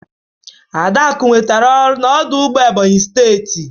Adaku nwetara ọrụ na ọdụ ụgbọ Ebonyi steti.